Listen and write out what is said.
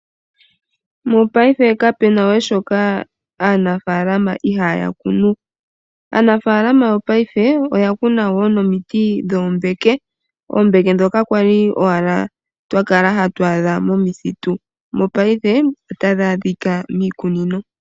Mopaife kapena we shoka aanafaalama ihaya kunu. Aanafaalama yopaife oya kuna wo nomiti dhoombeke, oombeke dhoka kwali owala twa kala hatu adha momithitu mopaife ota dhi adhika miikunino.